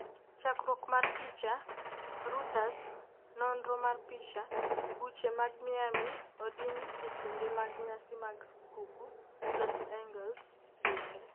chakruok mar picha, Reuters, nonro mar picha, buche mag Miami odin e kinde mag nyasi mag skuukuu, Los Angeles bende